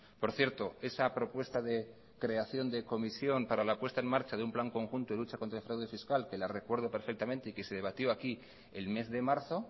por cierto esa propuesta de creación de comisión para la puesta en marcha de un plan conjunto de lucha contra el fraude fiscal que la recuerdo perfectamente y que se debatió aquí el mes de marzo